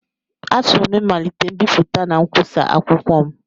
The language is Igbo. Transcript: Achọrọ m ịmalite mbipụta na nkwusa akwụkwọ m